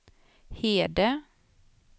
Hede